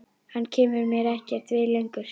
Hann kemur mér ekkert við lengur.